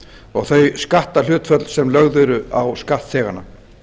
og þau skatthlutfall sem lögð eru á skattþega